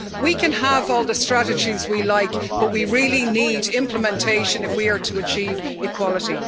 So, we can have all the strategies we like, but we really need implementation if we are to achieve equality.